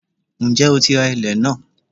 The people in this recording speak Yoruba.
Ǹjẹ́ o ti ra ilẹ̀n náà?